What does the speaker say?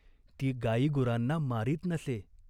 ती गायीगुरांना मारीत नसे.